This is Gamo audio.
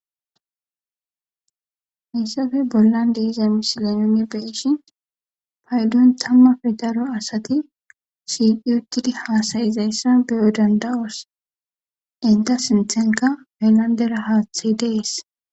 Haysape bolan diza missilen nuni be'ishin paydon tamape daro asati shiqi utidi hasa'izaysa be'i danda'os enta sintenka haylandera hati de'es.